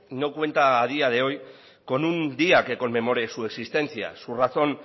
no cuenta a día de hoy con un día que conmemore su existencia su razón